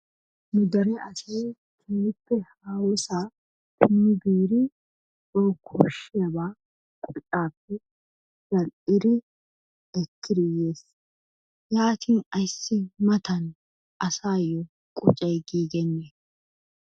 Nu deree asay kehippe hahosa biddi bawu koshiyabbaa qoccappe za'aliddi ekkieri yees, yattin mattan asayyo qoccay gigenne?